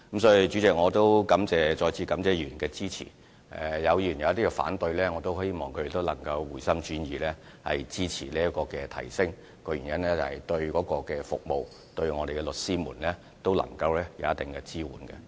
主席，我再次感謝議員的支持，若有議員反對，我也希望他們能回心轉意支持這次的費用提升，原因是決議案對服務和對律師都能夠提供一定支援。